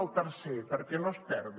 el tercer perquè no es perdi